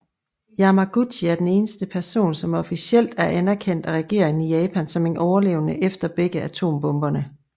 Yamaguchi er den eneste person som officielt er anerkendt af regeringen i Japan som en overlevende efter begge atombomberne